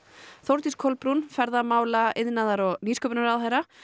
Þórdís Kolbrún ferðamála iðnaðar og nýsköpunarráðherra